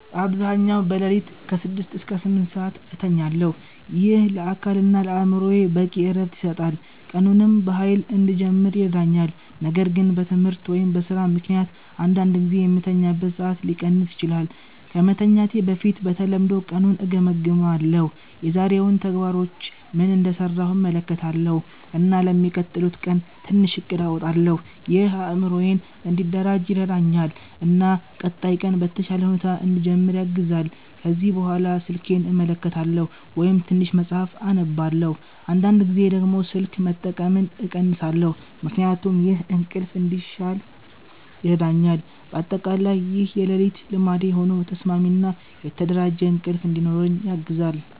በአብዛኛው በሌሊት ከ6 እስከ 8 ሰዓት እተኛለሁ። ይህ ለአካል እና ለአእምሮ በቂ እረፍት ይሰጣል፣ ቀኑንም በኃይል እንድጀምር ይረዳኛል። ነገር ግን በትምህርት ወይም በስራ ምክንያት አንዳንድ ጊዜ የምተኛበት ሰዓት ሊቀንስ ይችላል። ከመተኛት በፊት በተለምዶ ቀኑን እገምግማለሁ። የዛሬውን ተግባሮች ምን እንደሰራሁ እመለከታለሁ እና ለሚቀጥለው ቀን ትንሽ እቅድ አወጣለሁ። ይህ አእምሮዬን እንዲደራጅ ይረዳኛል እና ቀጣይ ቀን በተሻለ ሁኔታ እንድጀምር ያግዛል። ከዚያ በኋላ ስልኬን እመለከታለሁ ወይም ትንሽ መጽሐፍ እነብባለሁ። አንዳንድ ጊዜ ደግሞ ስልክ መጠቀምን እቀንሳለሁ ምክንያቱም ይህ እንቅልፍ እንዲሻል ይረዳኛል። በአጠቃላይ ይህ የሌሊት ልማዴ ሆኖ ተስማሚ እና የተደራጀ እንቅልፍ እንዲኖረኝ ያግዛል።